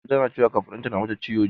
Mama tana cewa kafaɗunta na mata ciwo jiya.